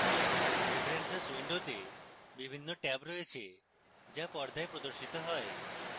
preferences window বিভিন্ন tab রয়েছে যা পর্দায় প্রদর্শিত হয়